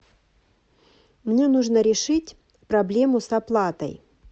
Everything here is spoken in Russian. мне нужно решить проблему с оплатой